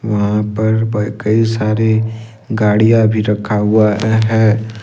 वहां पर कई सारे गाड़ियां भी रखा हुआ है।